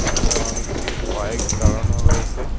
রাস্তায় অনেকগুলো বাইক দাঁড়ানোও রয়েছে।